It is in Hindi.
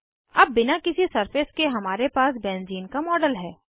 अब बिना किसी सरफेस के हमारे पर बेंज़ीन का मॉडल है